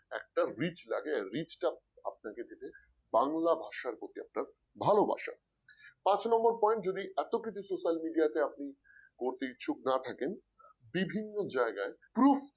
একটা reach লাগে আর reach টা আপনাকে পেতে বাংলা ভাষার প্রতি একটা ভালোবাসা, পাঁচ নম্বর point যদি এত কিছু social media তে আপনি করতে ইচ্ছুক না থাকেন বিভিন্ন জায়গায় proof